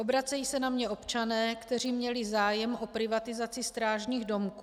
Obracejí se na mě občané, kteří měli zájem o privatizaci strážních domků.